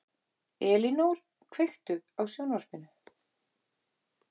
Elínór, kveiktu á sjónvarpinu.